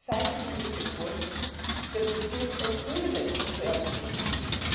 cited in this report that would give a privilege to LGBT people.